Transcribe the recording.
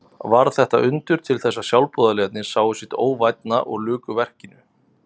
Varð þetta undur til þess að sjálfboðaliðarnir sáu sitt óvænna og luku verkinu.